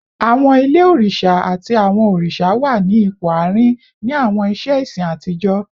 Awọn ile oriṣa ati awọn oriṣa wa ni awọn ipo aarin ni awọn iṣe ẹsin atijọ